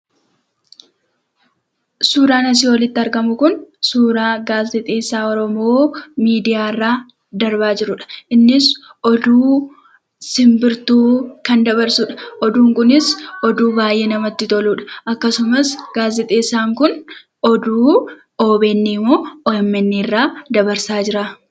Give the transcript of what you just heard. Suuraan asii olitti argamu kun suuraa gaazexeessaa Oromoo miidiyaarraa darbaa jiruudha. Innis oduu simbirtuu kan dabarsuudha. Oduun kunis oduu baay'eee namatti toluudha. Akkasumas gaazexeessaan kun oduu OBN moo OMN irraa dabarsaa jiraa?